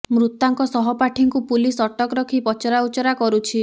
ମୃତାଙ୍କ ସହପାଠୀଙ୍କୁ ପୁଲିସ୍ ଅଟକ ରଖି ପଚରା ଉଚୁରା କରୁଛି